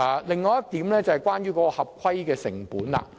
另一點是關乎合規成本的。